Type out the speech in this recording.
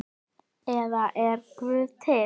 eða Er Guð til?